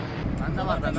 Məndə var, məndə var.